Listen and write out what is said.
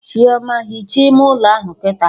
Chioma, hichaa ime ụlọ ahụ kịta!